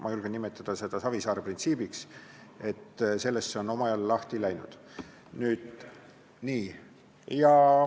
Ma julgen nimetada seda Savisaare printsiibiks, temast see omal ajal alguse sai.